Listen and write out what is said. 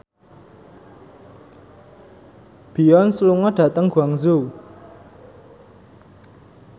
Beyonce lunga dhateng Guangzhou